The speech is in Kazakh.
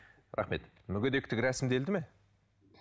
рахмет мүгедектік рәсімделді ме